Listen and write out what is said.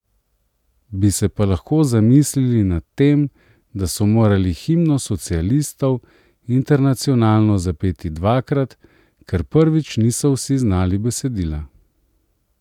Bi se pa lahko zamislili nad tem, da so morali himno socialistov Internacionalo zapeti dvakrat, ker prvič niso vsi znali besedila.